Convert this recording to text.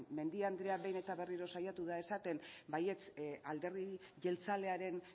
mendia andrea behin eta berriro saiatu da esaten baietz alderdi jeltzalearen